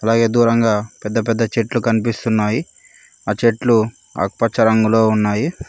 అలాగే దూరంగా పెద్ద పెద్ద చెట్లు కన్పిస్తున్నాయి ఆ చెట్లు ఆకు పచ్చ రంగులో ఉన్నాయి.